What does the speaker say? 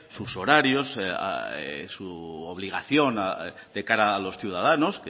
sus horarios su obligación de cara a los ciudadanos